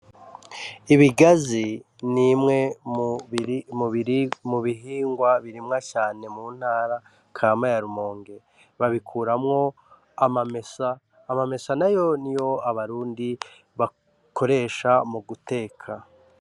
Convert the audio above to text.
Ibigazi n'imwe muhingwa birimwa cane mu ntara kama ya Rumonge babikuramwo amamesa nayo niyo Abarundi bakoresha mu guteka